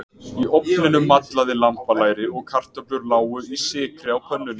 Í ofninum mallaði lambalæri og kartöflur lágu í sykri á pönnunni.